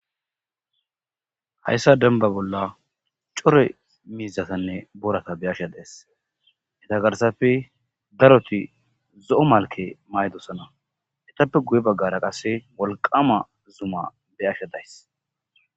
Hayssa dembbaza bolla cora miizatanne boorata be'ashe de'ays. Eta garssappe daroti zo'o malke mayidosona. Etappe guye baggara qasse wolqama zuma be'ashe dayssi.